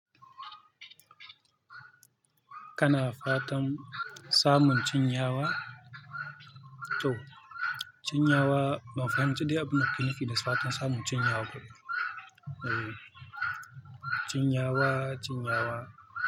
Kana fatan samun cinyawa? To cinyawa, ban fahimci dai abin da kake nufi da fatan samun cinyawa kuma. Ehh, cinyawa, cinyawa.